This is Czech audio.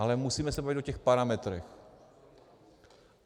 Ale musíme se bavit o těch parametrech.